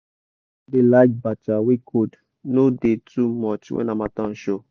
our goat da like bacha wey cold no da too much when harmattan show